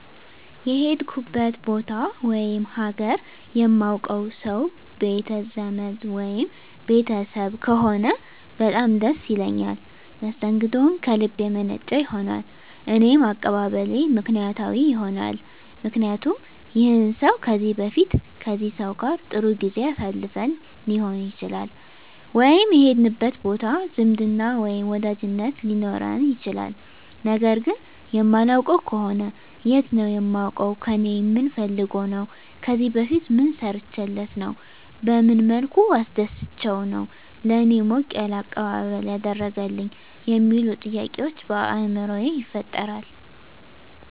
የሄድኩበት ቦታ ወይም ሀገር የማውቀው ሰው ቤት ዘመድ ወይም ቤተሰብ ከሆነ በጣም ደስ ይለኛል መስተንግደውም ከልብ የመነጨ ይሆናል እኔም አቀባበሌ ምክንያታዊ ይሆናልምክንያቱም ይህን ሰው ከዚህ በፊት ከዚህ ሰው ጋር ጥሩ ጊዜ አሳልፈን ሊሆን ይችላል ወይም የሄድንበት ቦታ ዝምድና ወይም ወዳጅነት ሊኖረን ይችላል ነገር ግን የማላውቀው ከሆነ የት ነው የማውቀው ከእኔ ምን ፈልጎ ነው ከዚህ በፊት ምን ሰርቸለት ነው በመን መልኩ አስደስቸው ነው ለእኔ ሞቅ ያለ አቀባበል ያደረገልኝ የሚሉ ጥያቄዎች በአይምሮየ ይፈጠራል